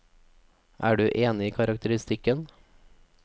Er du enig i karakteristikken?